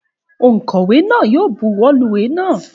Ònkówè náà yi o buwó lu ìwé náà